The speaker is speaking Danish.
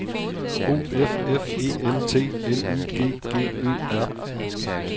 O F F E N T L I G G Ø R